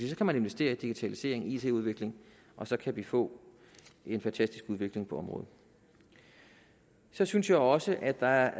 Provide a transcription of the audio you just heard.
så kan man investere i digitalisering it udvikling og så kan vi få en fantastisk udvikling på området så synes jeg også at der